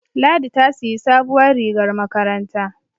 Ladi ta siyi sabuwar rigar makaranta